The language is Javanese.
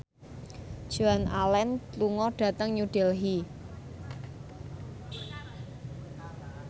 Joan Allen lunga dhateng New Delhi